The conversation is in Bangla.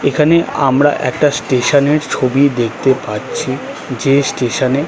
এখানে আমরা একটা স্টেশন -এর ছবি দেখতে পাচ্ছি যে স্টেশন -এ--